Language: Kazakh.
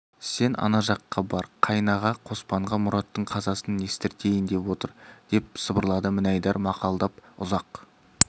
сен ана жаққа бар қайнаға қоспанға мұраттың қазасын естіртейін деп отыр деп сыбырлады мінайдар мақалдап ұзақ